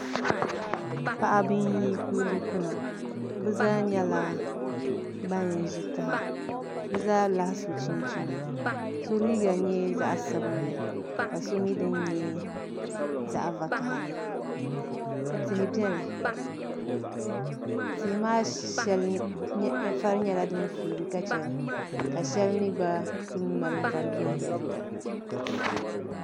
Paɣaba n yi kuligi kuna bi zaa nyɛla ban ʒi taha bi zaa lahi so chinchina so liiga nyɛ zaɣ sabinli ka so dini nyɛ zaɣ vakaɣali tihi biɛni tihi maa shɛli vari nyɛla din suugi ka chɛli ka shɛli mii gba ku mali vari viɛnyɛlinga